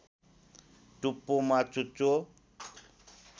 टुप्पोमा चुच्चो